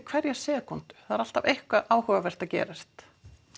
hverja sekúndu það er alltaf eitthvað áhugavert að gerast